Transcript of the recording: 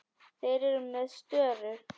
Þeir eru með störu.